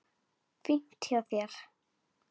Fínt hjá þér.